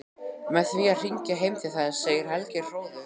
Með því að hringja heim til þess, segir Helgi hróðugur.